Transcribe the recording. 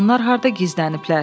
Onlar harda gizləniblər?